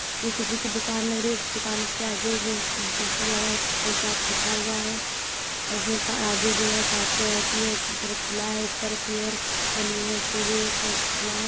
ये किसी दुकान लग रही है। इस दुकान के आगे जो पोस्टर लगा है स्पेशल चार्ट लिखा हुआ है और इस मे आगे जो है कांच की है पर खुला है ऊपर की ओर बनी है उसपे भी खुला है।